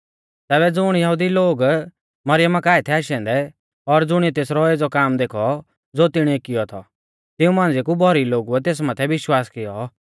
तैबै ज़ुण यहुदी लोग मरियमा काऐ थै आशै औन्दै और ज़ुणिऐ तेसरौ एज़ौ काम देखौ ज़ो तिणीऐ कियौ थौ तिऊं मांझ़िआ कु भौरी लोगुऐ तेस माथै विश्वास कियौ